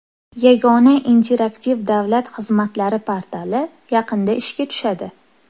Yagona interaktiv davlat xizmatlari portali yaqinda ishga tushadi.